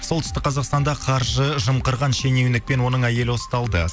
солтүстік қазақстанда қаржы жымқырған шенеунік пен оның әйелі ұсталды